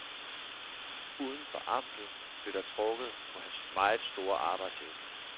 Uden for amtet blev der trukket på hans meget store arbejdsevne.